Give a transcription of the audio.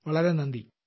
വളരെ നന്ദി